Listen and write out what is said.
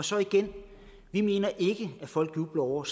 så igen vi mener slet ikke at folk jubler over